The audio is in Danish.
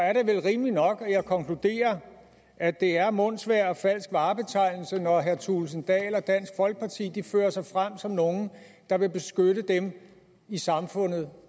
er det vel rimeligt nok at jeg konkluderer at det er mundsvejr og falsk varebetegnelse når herre kristian thulesen dahl og dansk folkeparti fører sig frem som nogle der vil beskytte dem i samfundet